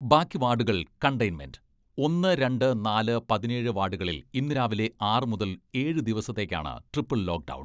ബാക്കി വാഡുകൾ കണ്ടയ്ന്മെന്റ്, ഒന്ന്, രണ്ട്, നാല് പതിനേഴ് വാഡുകളിൽ ഇന്ന് രാവിലെ ആറു മുതൽ ഏഴ് ദിവസത്തേക്കാണ് ട്രിപ്പിൾ ലോക്ക്ഡൗൺ.